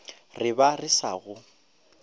re ba re sa go